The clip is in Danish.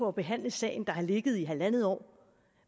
at behandle sagen der har ligget der i halvandet år